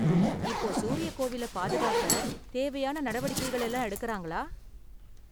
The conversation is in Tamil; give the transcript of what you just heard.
இப்போ சூரிய கோவில பாதுகாக்க தேவையான நடவடிக்கைகள் எல்லாம் எடுக்கறாங்களா?